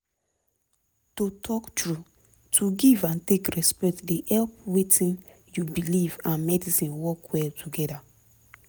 to talk truth to give and take respect dey help wetin u belief and medicine work well together